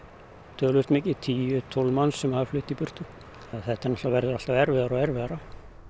töluvert mikið tíu tólf manns sem hafa flutt í burtu og þetta verður alltaf erfiðara og erfiðara